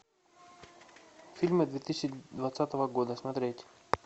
фильмы две тысячи двадцатого года смотреть